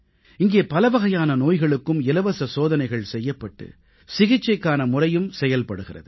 இங்கே பலவகையான நோய்களுக்கும் இலவச சோதனைகள் செய்யப்பட்டு சிகிச்சைக்கான முறையும் செயல்படுகிறது